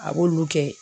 A b'olu kɛ